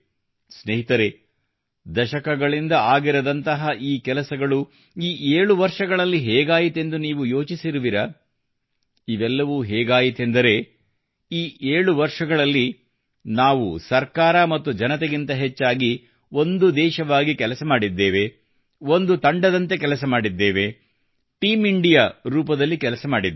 ಸ್ನೇಹಿತರೆ ದಶಕಗಳಿಂದ ಆಗಿರದಂತಹ ಈ ಕೆಲಸಗಳು ಈ 7 ವರ್ಷಗಳಲ್ಲಿ ಹೇಗಾಯಿತೆಂದು ನೀವು ಯೋಚಿಸಿರುವಿರಾ ಇವೆಲ್ಲವೂ ಹೇಗಾಯಿತೆಂದರೆ ಈ 7 ವರ್ಷಗಳಲ್ಲಿ ನಾವು ಸರ್ಕಾರ ಮತ್ತು ಜನತೆಗಿಂತ ಹೆಚ್ಚಾಗಿ ಒಂದು ದೇಶವಾಗಿ ಕೆಲಸ ಮಾಡಿದ್ದೇವೆ ಒಂದು ತಂಡದಂತೆ ಕೆಲಸ ಮಾಡಿದ್ದೇವೆ ಟೀಂಇಂಡಿಯಾ ರೂಪದಲ್ಲಿ ಕೆಲಸ ಮಾಡಿದ್ದೇವೆ